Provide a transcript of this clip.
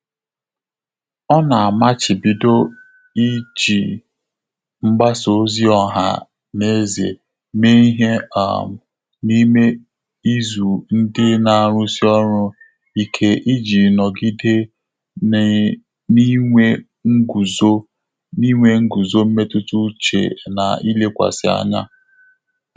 Ọ́ nà-àmàchị́bídọ́ íjí mgbàsá òzì ọ́há nà ézè mèé ìhè um n’ímé ízù ndị́ nà-árụ́sí ọ́rụ́ íké ìjí nọ́gídé n’í n’ínwé ngụ́zó n’ínwé ngụ́zó mmétụ́tà úchè nà ílékwàsị́ ányá.